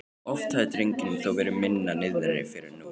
Oft hafði drengnum þó verið minna niðri fyrir en nú.